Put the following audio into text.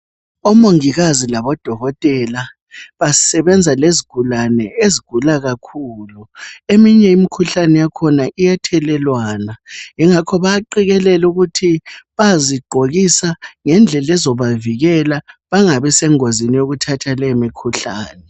Omongikazi labo dokotela basebenza lezigulane ezigula kakhulu. Eminye imikhuhlane yakhona iyathelelwana, yingakho bayaqekelelwa ukuthi bayazigqokisa ngendlela ezobavikela bengabi sengozini yokuthatha leyo mikhuhlane.